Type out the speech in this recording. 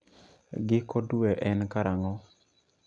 Giko dwe en karang'o